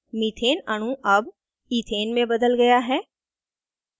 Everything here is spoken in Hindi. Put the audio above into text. methane अणु अब इथेन में बदल गया है